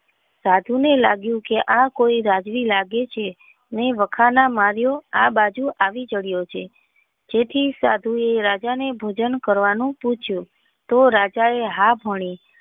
સાધુ ને લાગ્યું કે આ કોઈ રાજવીર લાગે છે આવ્યો આ બાજુ આવી ચડ્યો છે તેથી સાધુ એ રાજા ને ભોજન કરવાનું પૂછ્યું તો રાજા એ હા ભણી.